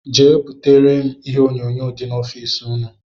Jee butere m ihe onyonyo dị n' ọffici ụnụ!!